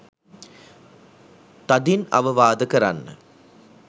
තදින් අවවාද කරන්න